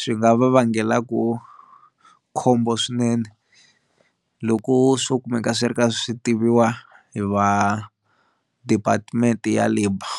swi nga va vangelaku khombo swinene loko swo kumeka swi ri ka swi tiviwa hi va department ya labour.